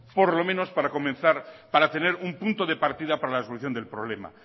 por lo menos para comenzar y para tener un punto de partida para la solución del problema